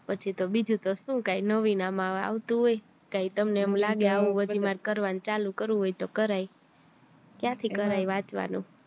પછી તો બીજું તો શું કાય નવીન આમાં આવતું હોય કઈ તમને એમ લાગે આવું બધું કરવાનું ચાલુ કરવું હોય તો કરાય ક્યાં થી કરાય વાંચવાનું